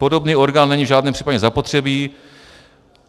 Podobný orgán není v žádném případě zapotřebí."